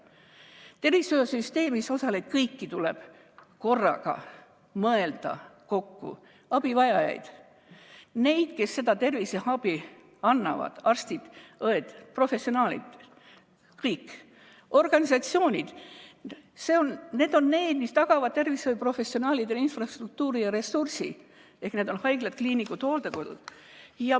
Kõigile tervishoiusüsteemis osalejatele tuleb korraga mõelda: abivajajad, need, kes terviseabi annavad, arstid-õed, professionaalid, organisatsioonid, mis tagavad tervishoiuprofessionaalidele infrastruktuuri ja ressursi, ehk haiglad, kliinikud ja hooldekodud.